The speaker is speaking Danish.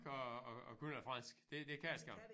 At at at kunne noget fransk det det kan det skam